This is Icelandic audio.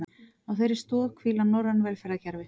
Á þeirri stoð hvíla norræn velferðarkerfi